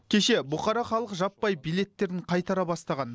кеше бұқара халық жаппай билеттерін қайтара бастаған